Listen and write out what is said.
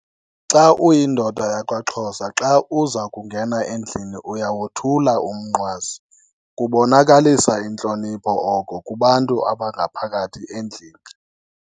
Xa uyindoda yakwaXhosa xa uza kungena endlini uyawothula umnqwazi. Kubonakalisa intlonipho oko kubantu abangaphakathi endlini.